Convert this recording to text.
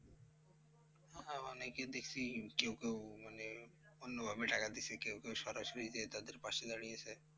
হ্যাঁ অনেকে দেখসি কেউ কেউ মানে অন্যভাবে টাকা দিয়েছে কেউ কেউ সরাসরি যেয়ে তাদের পাশে দাঁড়িয়েছে।